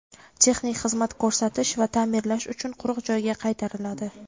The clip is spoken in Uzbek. texnik xizmat ko‘rsatish va ta’mirlash uchun quruq joyga qaytariladi.